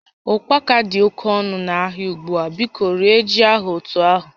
Ụkpaka dị oke ọnụ n'ahịa ugbu a, biko rie ji ahụ otu ahụ